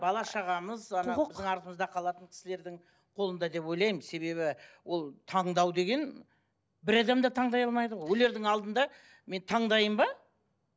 бала шағамыз біздің артымызда қалатын кісілердің қолында деп ойлаймын себебі ол таңдау деген бір адам да таңдай алмайды ғой өлердің алдында мен таңдайын ба